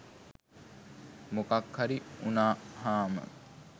මොකක් හරි උනහාම